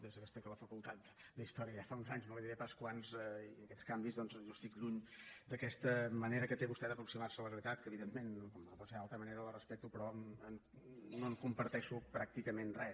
des que estic a la facultat d’història ja fa uns anys no li diré pas quants i aquests canvis doncs jo estic lluny d’aquesta manera que té vostè d’aproximar se a la realitat que evidentment com no pot ser d’altra manera la respecto però no en comparteixo pràcticament res